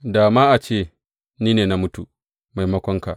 Da ma a ce ni ne na mutu maimakonka.